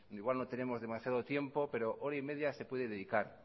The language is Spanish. igual no tenemos demasiado tiempo pero hora y media se puede dedicar